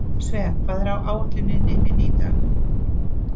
Svea, hvað er á áætluninni minni í dag?